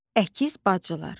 Əkiz bacılar.